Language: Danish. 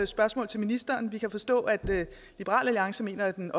spørgsmål til ministeren vi kan forstå at liberal alliance mener at den